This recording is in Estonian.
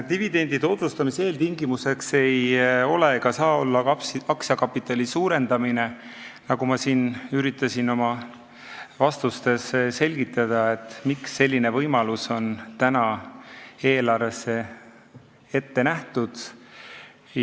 Dividendi otsustamise eeltingimus ei ole ega saa olla aktsiakapitali suurendamine, nagu ma ka oma vastustes üritasin selgitada, rääkides, miks selline võimalus on eelarves ette nähtud.